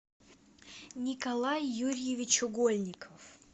николай юрьевич угольников